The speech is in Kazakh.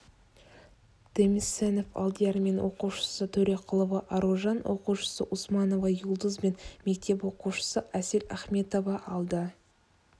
демисенов алдияр мен оқушысы төреқұлова аружан оқушысы усманова юлдуз бен мектеп оқушысы асель ахметова алды